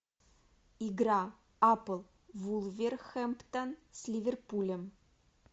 игра апл вулверхэмптон с ливерпулем